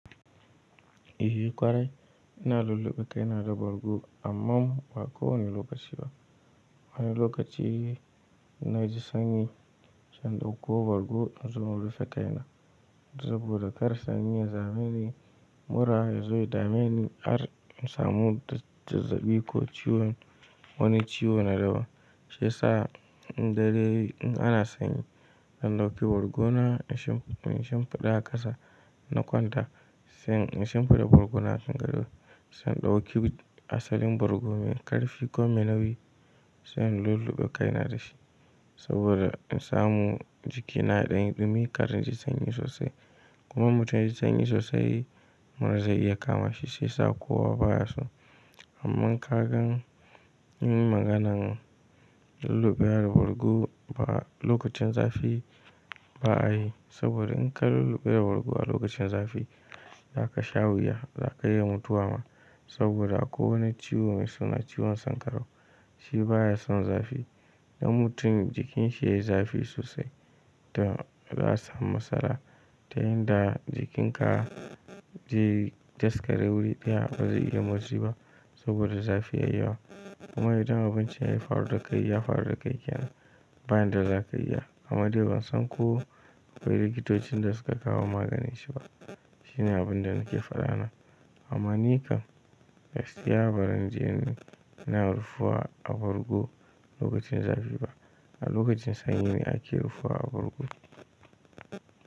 Ehƙwarai, ina lulluɓe kaina da bargo amma ba kowane lokaci ba. Wani lokaci in na ji sanyi zan ɗauko bargo in zo in rufe kaina saboda kar sanyi ya dameni, mura ya zo ya dameni. Har in samu zazzaɓi ko ciwon wani ciwo na daban. Shiyasa in daren in ana sanyi zan ɗauki bargona in shimfiɗa a ƙasa na kwanta. Sai in shimfiɗa bargona a kan gado, sai in ɗauki asalin bargo mai karfi ko mai nauyi sai in lulluɓe kaina da shi saboda in samu jikina ya ɗan yi dumi kar in ji sanyi sosai. Kuma mutum ya ji sanyi sosai mura zai iya kama shi shiyasa kowa baya so. Amma kagan in yi maganan lulluɓewa da bargo ba lokacin zafi ba a yi saboda in ka lulluɓe da bargo a lokacin zafi za ka sha wuya. Za ka iya mutuwa ma saboda akwai wani ciwo mai suna ciwon sankarau. Shi baya son zafi. Idan mutum jikin shi yayi zafi sosai, toh za a samu matsala ta yin da jikinka zai daskare wuri daya ba zai iya motsi ba saboda zafi yayi yawa. Kuma idan abin can ya faru da kai ya faru da kai kenan, ba yanda za ka iya. Amma dai ban san ko akwai likitocin da suka kawo maganin shi ba. Shi ne abin da nake faɗa na. Amma ni kam gaskiya baran je ina rufa a bargo lokacin zafi ba. A lokacin sanyi ne ake rufuwa a bargo.